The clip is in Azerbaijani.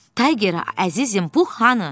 “Tayger, əzizim, Pux hanı?”